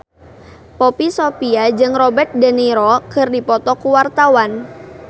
Poppy Sovia jeung Robert de Niro keur dipoto ku wartawan